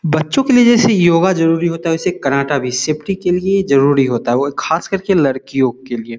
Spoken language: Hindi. बच्चों के लिए जैसे योगा जरूरी होता है वैसे कर्राटा भी सेफ़्टी के लिए जरूरी होता है वो खास करके लड़कियों के लिए।